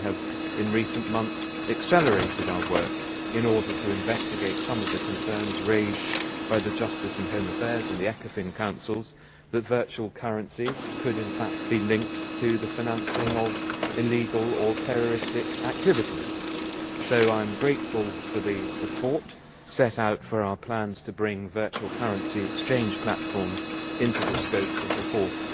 We have in recent months accelerated our work in order to investigate some of the concerns raised by the Justice and Home Affairs and Ecofin Councils that virtual currencies could in fact be linked to the financing of illegal or terrorist activities. So I am grateful for the support set out for our plans to bring virtual currency exchange platforms into the scope of the Fourth